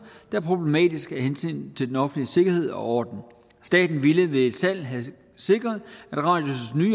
er problematiske af hensyn til den offentlige sikkerhed og orden staten ville ved et salg have sikret